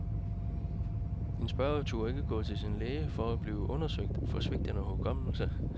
En spørger turde ikke gå til sin læge for at blive undersøgt for svigtende hukommelse.